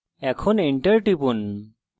এখন enter টিপুন